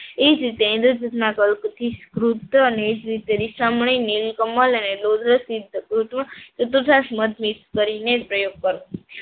એ જ રીતે ઈન્દ્રજીતમાં પલ્પથી અને એ જ રીતે રીસામણી કમલ અને મધ મિક્સ કરીને પ્રયોગ કરવો.